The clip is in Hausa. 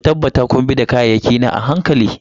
Ku tabbata kun bi da kayayyaki na a hankali.